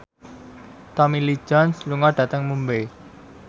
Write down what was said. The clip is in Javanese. Tommy Lee Jones lunga dhateng Mumbai